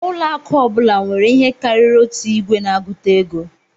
Ụlọ akụ ọ bụla nwere ihe karịrị otu igwe na-agụta ego